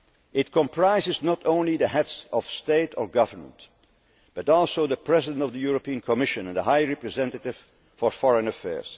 its success. It comprises not only the Heads of State or Government but also the President of the European Commission and the High Representative for Foreign